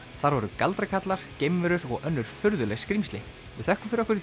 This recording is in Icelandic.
þar voru geimverur og önnur furðuleg skrímsli við þökkum fyrir okkur